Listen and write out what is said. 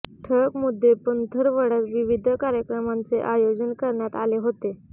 ठळक मुद्दे पंथरवड्यात विविध कार्यक्र मांचे आयोजन करण्यात आले होते